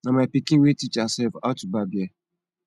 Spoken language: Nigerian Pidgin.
na my pikin wey teach herself how to barb hair